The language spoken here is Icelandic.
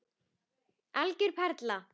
Algjör perla.